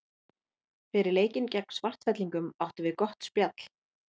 Fyrir leikinn gegn Svartfellingum áttum við gott spjall.